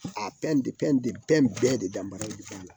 A bɛɛ de daba ye zanna